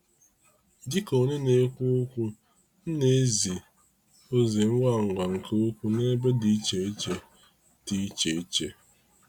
Dịka onye na-ekwu okwu, m na ezi ozi ngwa ngwa nke ukwuu n'ebe dị iche iche. dị iche iche.